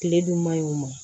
Kile dun man ɲi o ma